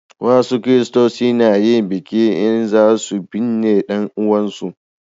wasu kiristoci na yin biki in za su binne dan uwan su